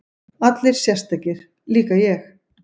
Allir sérstakir, líka ég?